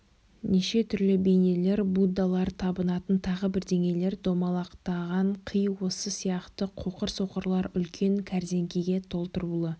неше түрлі бейнелер буддалар табынатын тағы бірдеңелер домалақтаған қи осы сияқты қоқыр-соқырлар үлкен кәрзеңкеге толтырулы